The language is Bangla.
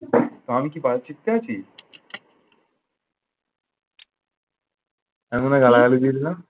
আমি কি বায়ুচিত্তে আছি? তার মানে গালাগালি দিয়ে দিলাম।